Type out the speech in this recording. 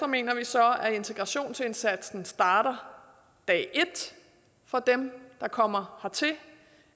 mener vi så at integrationsindsatsen starter dag et for dem der kommer hertil